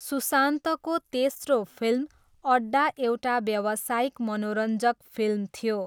सुशान्तको तेस्रो फिल्म अड्डा एउटा व्यावसायिक मनोरञ्जक फिल्म थियो।